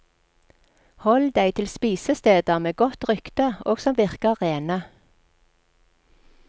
Hold deg til spisesteder med godt rykte og som virker rene.